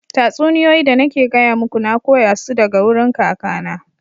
Tatsuniyoyi da nake gaya muku, na koya su daga wurin kakana.